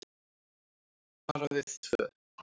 Bara við tvö.